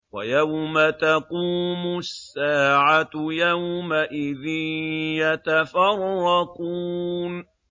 وَيَوْمَ تَقُومُ السَّاعَةُ يَوْمَئِذٍ يَتَفَرَّقُونَ